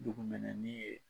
Dugu mɛnɛni ye